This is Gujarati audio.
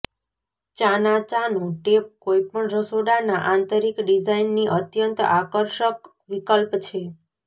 ચાના ચાનો ટેપ કોઈપણ રસોડાના આંતરીક ડિઝાઇનની અત્યંત આકર્ષક વિકલ્પ છે